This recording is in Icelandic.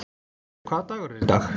Torfi, hvaða dagur er í dag?